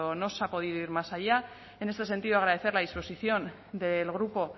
no se ha podido ir más allá en ese sentido agradecer la disposición del grupo